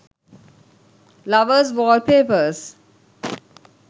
lovers wallpapers